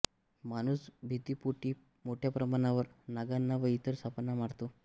माणूस भीतीपोटी मोठ्या प्रमाणावर नागांना व इतर सापांना मारतो